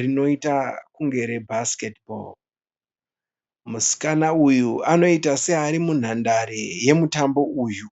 rinoita kunge re bhasiketibho. Musikana uyu anoita seari munhandare yemutambo uyu.